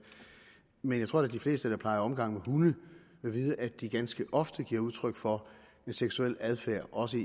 men jeg tror da at de fleste der plejer omgang med hunde vil vide at de ganske ofte giver udtryk for en seksuel adfærd også